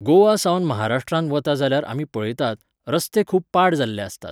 गोंया सावन महाराष्ट्रांत वता जाल्यार आमी पळयतात, रस्ते खूब पाड जाल्ले आसतात.